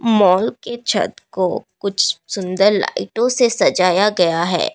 Mall के छत को कुछ सुंदर लाईटो से सजाया गया है।